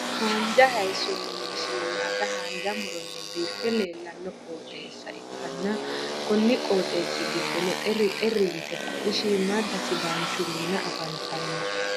haanja hayiisonnina shiimada haanja muronni biife leelanno qoxeesa ikanna konni qoxeesi giddonno xeri xeri yitte ka'e shiimada sidaanchu Minna afantanno.